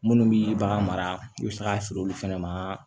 Minnu bi bagan mara i bɛ se k'a feere olu fɛnɛ ma